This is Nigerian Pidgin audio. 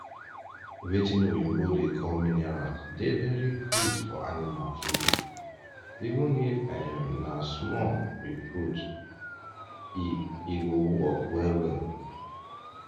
watin oyibos da call minerals da very good for animal food even if um na small u put e e go work well well